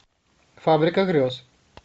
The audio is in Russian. фабрика грез